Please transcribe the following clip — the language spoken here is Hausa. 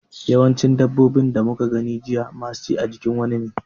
Yawancin dabbobin da muka gani jiya masu ci a jikin wani ne.